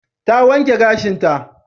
Ta wanke gashinta.